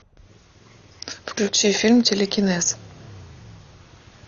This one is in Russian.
включи фильм телекинез